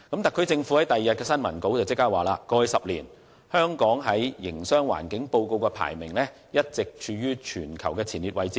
特區政府迅即在翌日的新聞稿中指出，"香港在過去十年的《營商環境報告》中，排名一直處於全球前列位置......